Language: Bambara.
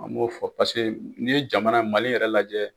A b'o fɔ paseke n'i ye jamana, Mali yɛrɛ lajɛ